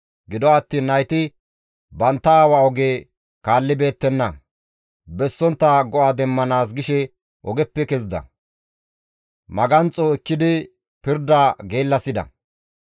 Gido attiin nayti bantta aawa oge kaallibeettenna; bessontta go7a demmanaas gishe ogeppe kezida; maganxo ekkidi pirda geellasida.